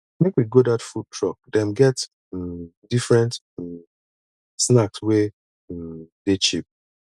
make we go dat food truck dem get um different um snacks wey um dey cheap